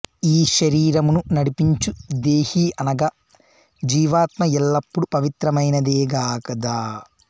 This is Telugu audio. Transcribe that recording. ఈ శరీరమును నడిపించు దేహి అనగా జీవాత్మ ఎల్లప్పుడు పవిత్రమైనదేగదా